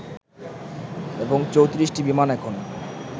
এবং ৩৪ টি বিমান এখন